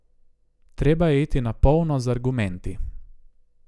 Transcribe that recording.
Treba je iti na polno z argumenti.